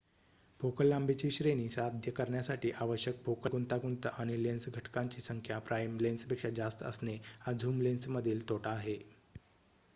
focal लांबीची श्रेणी साध्य करण्यासाठी आवश्यक फोकल गुंतागुंत आणि लेन्स घटकांची संख्या प्राइम लेन्सपेक्षा जास्त असणे हा झूम लेन्समधील तोटा आहे